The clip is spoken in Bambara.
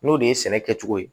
N'o de ye sɛnɛ kɛcogo ye